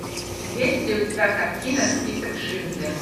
есть ли у тебя картина список шиндлера